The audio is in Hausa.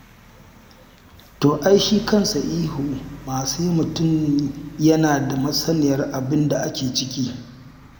To ai shi kansa ihun ma sai mutum yana da masaniyar abin da ake ciki.